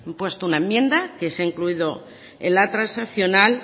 puesto una enmienda que se ha incluido en la transaccional